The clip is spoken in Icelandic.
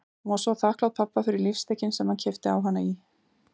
Hún var svo þakklát pabba fyrir lífstykkin sem hann keypti á hana í